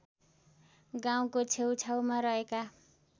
गाउँको छेउछेउमा रहेका